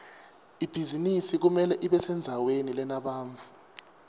ibhizinisi kumele ibesendzaweni lenebantfu